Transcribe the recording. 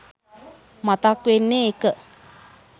මතක් වෙන්නේ එක.